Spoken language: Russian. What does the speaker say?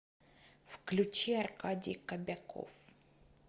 включи аркадий кобяков